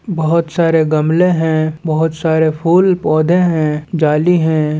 बहुत सारे गमले हैं बहुत सारे फूल पौधे हैं जाली है।